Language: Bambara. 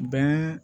Bɛn